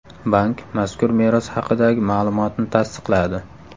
Bank mazkur meros haqidagi ma’lumotni tasdiqladi.